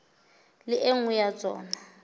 le e nngwe ya tsona